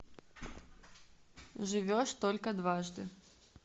живешь только дважды